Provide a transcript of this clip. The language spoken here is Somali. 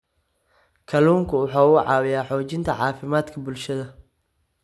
Kalluunku waxa uu caawiyaa xoojinta caafimaadka bulshada.